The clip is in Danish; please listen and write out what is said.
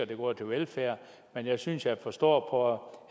det går til velfærd men jeg synes jeg forstår